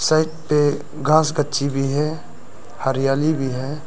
पे घास कच्ची भी है हरियाली भी है।